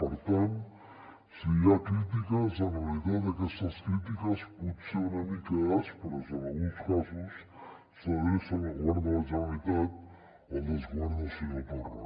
per tant si hi ha crítiques en realitat aquestes crítiques potser una mica aspres en alguns casos s’adrecen al govern de la generalitat al desgovern del senyor torra